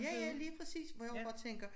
Ja ja lige præcis hvor jeg også bare tænker